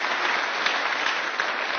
Signor Presidente Schulz,